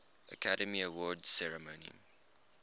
academy awards ceremony